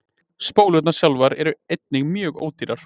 Spólurnar sjálfar eru einnig mjög ódýrar.